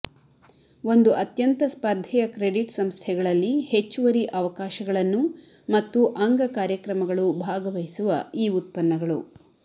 ಒಂದು ಅತ್ಯಂತ ಸ್ಪರ್ಧೆಯ ಕ್ರೆಡಿಟ್ ಸಂಸ್ಥೆಗಳಲ್ಲಿ ಹೆಚ್ಚುವರಿ ಅವಕಾಶಗಳನ್ನು ಮತ್ತು ಅಂಗ ಕಾರ್ಯಕ್ರಮಗಳು ಭಾಗವಹಿಸುವ ಈ ಉತ್ಪನ್ನಗಳು